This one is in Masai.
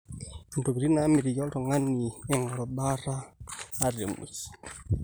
intokitin naamitiki oltung'ani eing'oru baata ata emwei